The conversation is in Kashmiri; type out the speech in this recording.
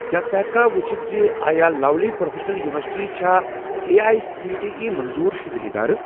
کیٛاہ ژٕ ہیٚککھا وُچھِتھ زِ آیا لَولی پرٛوفیٚشنَل یُنورسِٹی چھا اے اٮٔۍ سی ٹی ایی منظور شُدٕ ادارٕ؟